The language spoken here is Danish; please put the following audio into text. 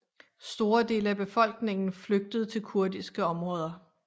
Store dele af befolkningen flygtede til kurdiske områder